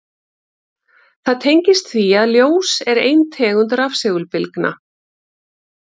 Það tengist því að ljós er ein tegund rafsegulbylgna.